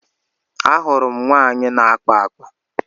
A hụrụ m nwaanyị na-akpa akpa.